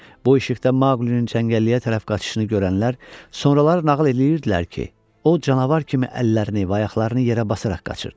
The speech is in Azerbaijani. Bu işıqda Maqlinin çəngəlliyə tərəf qaçışını görənlər sonralar nağıl eləyirdilər ki, o canavar kimi əllərini və ayaqlarını yerə basaraq qaçırdı.